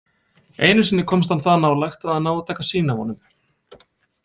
Einu sinni komst hann það nálægt að hann náði að taka sýni af honum.